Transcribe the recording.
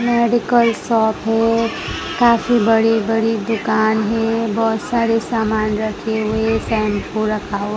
medical shop है काफी बड़ी बड़ी दुकान है बहोत सारे समान रखे हुए शैंपू रखा हुआ--